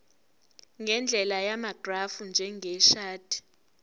ngendlela yamagrafu njengeshadi